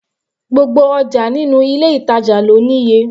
Gbogbo ọjà nínú ilé ìtàjà lọ ní iye.